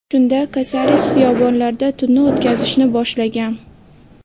Shunda Kasares xiyobonlarda tunni o‘tkazishni boshlagan.